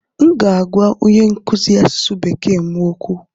M ga-agwa onye nkụzi asụsụ Bekee m okwu.